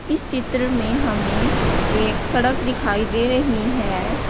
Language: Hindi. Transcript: इस चित्र में हमें एक सड़क दिखाई दे रही है।